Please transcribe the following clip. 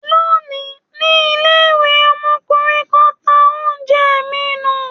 Lónìí, ní ilé-ìwé, ọmọkùnrin kan dá oúnjẹ mi nù.